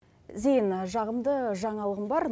зейін жағымды жаңалығым бар